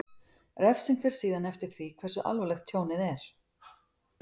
Refsing fer síðan eftir því hversu alvarlegt tjónið er.